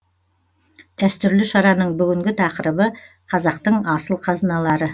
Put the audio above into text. дәстүрлі шараның бүгінгі тақырыбы қазақтың асыл қазыналары